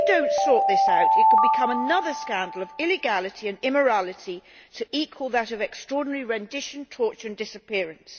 If we do not sort this out it could become another scandal of illegality and immorality to equal that of extraordinary rendition, torture and disappearance.